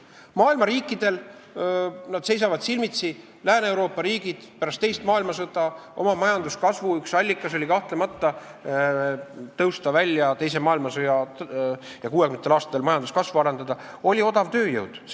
Maailma riikidel, Lääne-Euroopa riikidel oli pärast teist maailmasõda majanduskasvu üks allikaid, mille abil 1960. aastatel majanduskasvu arendati, odav tööjõud.